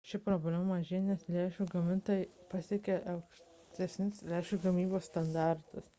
ši problema mažėja nes lęšių gamintojai pasiekia aukštesnius lęšių gamybos standartus